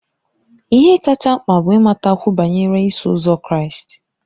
Ihe kacha mkpa bụ ịmatakwu banyere Iso Ụzọ Kraịst.